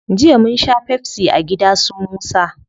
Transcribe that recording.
Jiya munsha pepsi a gida su musa